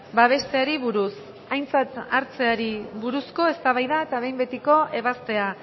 babesteari buruz aintzat hartzeari buruzko eztabaida eta behin betiko ebazpena